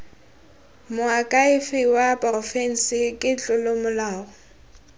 moakhaefe wa porofense ke tlolomolao